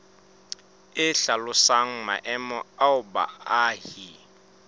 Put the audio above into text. e hlalosang maemo ao baahi